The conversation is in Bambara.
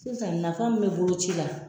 Sisan nafa min be boloci la